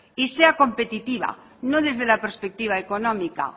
y sea competitiva no desde la perspectiva económica